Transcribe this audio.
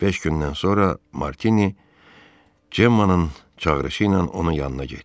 Beş gündən sonra Martini Cemmanın çağırışı ilə onun yanına getdi.